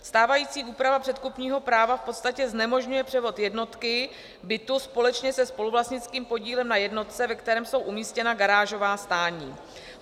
Stávající úprava předkupního práva v podstatě znemožňuje převod jednotky bytu společně se spoluvlastnickým podílem na jednotce, ve které jsou umístěna garážová stání.